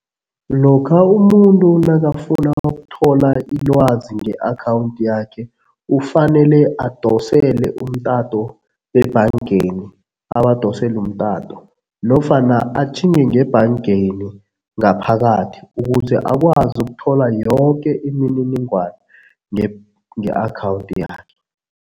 Lokha umuntu nakafuna ukuthola ilwazi nge-akhawundi yakhe ufanele adosele umtato bebhangeni, abadosele umtato nofana atjhinge ngebhangeni ngaphakathi ukuze akwazi ukuthola yoke imininingwana nge-akhawundi yakhe.